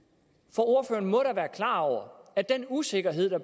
for ordføreren må da være klar over at den usikkerhed der